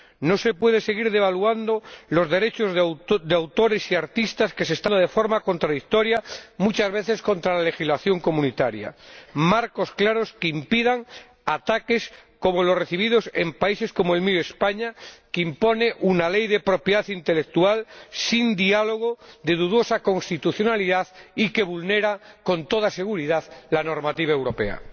No se pueden seguir devaluando los derechos de autores y artistas, de forma contradictoria, muchas veces, con la legislación comunitaria. Son necesarios marcos claros que impidan ataques como los recibidos en países como el mío, España, que impone una ley de propiedad intelectual sin diálogo, de dudosa constitucionalidad y que vulnera, con toda seguridad, la normativa europea.